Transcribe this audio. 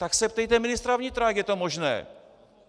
Tak se ptejte ministra vnitra, jak je to možné.